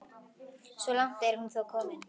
Svo langt er hún þó komin.